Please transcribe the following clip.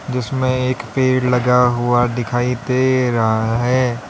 जिसमें एक पेड़ लगा हुआ दिखाई दे रहा है।